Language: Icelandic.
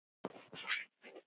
Gull eða silfur?